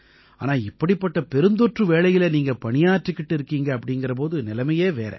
ஆனா இப்படிப்பட்டப் பெருந்தொற்று வேளையில நீங்க பணியாற்றிக்கிட்டு இருக்கீங்க அப்படீங்கற போது நிலைமையே வேற